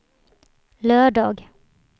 lördag